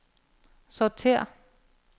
sortér